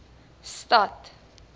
stad